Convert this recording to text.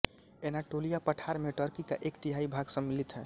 Anatolia पठार में Turkey का एक तिहाई भाग सम्मिलित है